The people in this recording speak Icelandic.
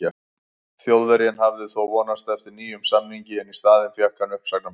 Þjóðverjinn hafði þó vonast eftir nýjum samningi en í staðinn fékk hann uppsagnarbréf.